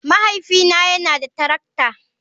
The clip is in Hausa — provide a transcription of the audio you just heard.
Mahaifina yana da tarakta.